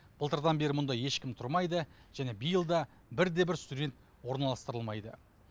былтырдан бері мұнда ешкім тұрмайды және биыл да бір де бір студент орналастырылмайды